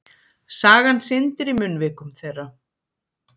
Sagan syndir í munnvikum þeirra.